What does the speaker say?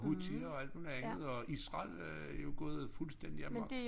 Houthi og alt muligt andet og Israel er jo gået fuldstændig amok